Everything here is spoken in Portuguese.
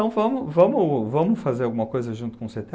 Então, vamos vamos fazer alguma coisa junto com o cê tê á?